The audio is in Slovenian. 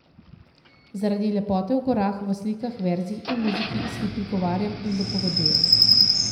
Zaradi lepote v gorah, v slikah, verzih in muziki, si prigovarjam in dopovedujem.